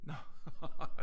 Nå ja